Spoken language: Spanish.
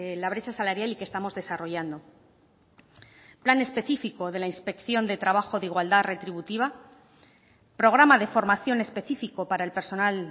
la brecha salarial y que estamos desarrollando plan específico de la inspección de trabajo de igualdad retributiva programa de formación específico para el personal